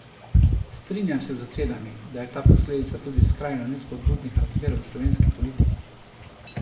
Strinjam se z ocenami, da je ta posledica tudi skrajno nespodbudnih razmer v slovenski politiki.